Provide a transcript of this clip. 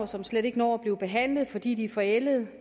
som slet ikke når at blive behandlet fordi de er forældet